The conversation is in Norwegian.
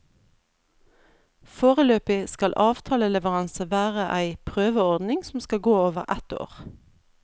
Foreløpig skal avtaleleveranse være ei prøveordning som skal gå over ett år.